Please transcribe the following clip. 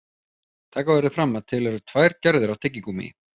Taka verður fram að til eru tvær gerðir af tyggigúmmí.